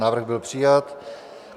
Návrh byl přijat.